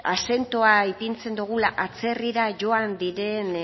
azentua ipintzen dugula atzerrira joan diren